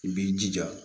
I b'i jija